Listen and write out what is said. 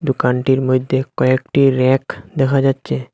দোকানটির মইধ্যে কয়েকটি ব়্যাক দেখা যাচ্চে।